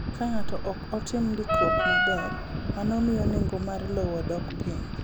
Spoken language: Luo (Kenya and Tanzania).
Ka ng’ato ok otim ndikruok maber, mano miyo nengo mar lowo dok piny.